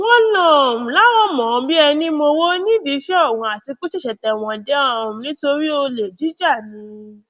wọn um láwọn mọ ọn bíi ẹní mowó nídìí iṣẹ ọhún àti pé ó ṣẹṣẹ tẹwọn dé um nítorí olè jíjà ni